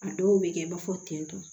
A dɔw bɛ kɛ i b'a fɔ tentɔ